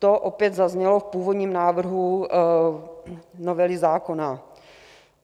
To opět zaznělo v původním návrhu novely zákona.